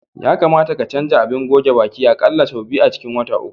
Ya kamata ka canza abin goge baki a ƙalla sau biyu a cikin wata uku.